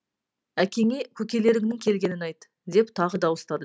әкеңе көкелеріңнің келгенін айт деп тағы дауыстады